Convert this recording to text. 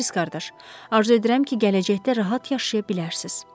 Morison qardaş, arzu edirəm ki, gələcəkdə rahat yaşaya bilərsiz.